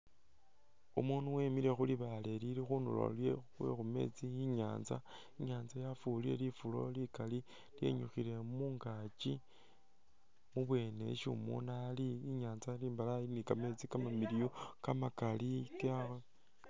Umundu wemile khulibale lilikhundulo khwekhumetsi inyatsa yafurile lifuro likali lyenyukhile mungakyi ibweni isi umundu ali inyantsa imbalayi ni kameetsi kamamiliyu kamakali